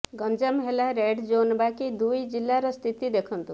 ଗଞ୍ଜାମ ହେଲା red zone ବାକି ଦୁଇ ଜିଲ୍ଲାର ସ୍ଥିତି ଦେଖନ୍ତୁ